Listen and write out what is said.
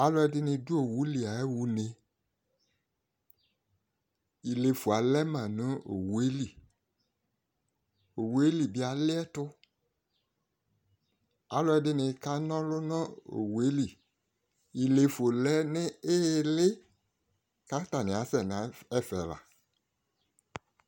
alò ɛdini do owu li ya ɣa une ilefo alɛ ma no owu yɛ li owu yɛ li bi aliɛto alò ɛdini ka n'ɔlu no owu yɛ li ilefo lɛ no ili k'atani asɛ n'ɛfɛ la